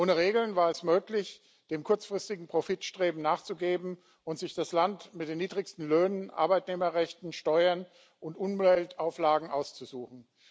Ohne Regeln war es möglich, dem kurzfristigen Profitstreben nachzugeben und sich das Land mit den niedrigsten Löhnen, Arbeitnehmerrechten, Steuern und Umweltauflagen auszusuchen.